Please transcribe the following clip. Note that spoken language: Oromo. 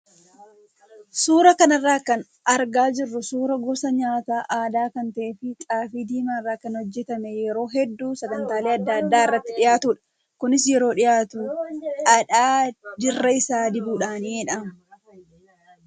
Suuraa kana irraa kan argaa jirru suuraa gosa nyaata aadaa kan ta'ee fi xaafii diimaa irraa kan hojjatamee yeroo hedduu sagantaalee adda addaa irratti dhiyaatudha. Kunis yeroo dhiyaatu dhadhaa dirra isaa dibuudhaani.